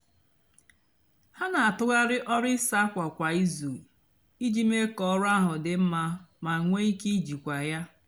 hà nà-àtụgharị ọrụ įsá ákwa kwá ízú íjì mée kà ọrụ áhụ dị mmá mà nwée íkè íjìkwá yá.